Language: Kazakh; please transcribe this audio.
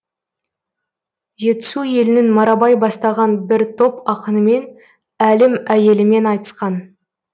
жетісу елінің марабай бастаған бір топ ақынымен әлім әйелімен айтысқан